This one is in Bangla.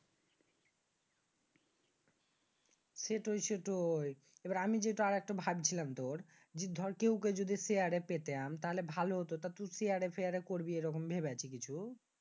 সেটাই সেটাই। আমি যেটা আর একটা ভাবছিলাম তুর ধর একটা Share এ পেতাম তাহলে ভালো হত। তা তুই Share এ পেয়ারে করবি এই রকম ভেবেছিস কিছু?